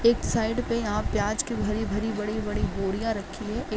एक साइड पे यहाँ प्याज की भरी-भरी बड़ी-बड़ी बोरियाॅ रखी हुई हैं। एक --